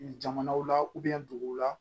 Jamanaw la duguw la